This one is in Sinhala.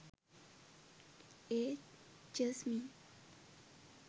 ඒත් ජස්මින්